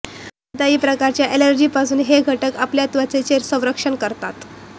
कोणत्याही प्रकारच्या अॅलर्जीपासून हे घटक आपल्या त्वचेचं संरक्षण करतात